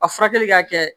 A furakɛli ka kɛ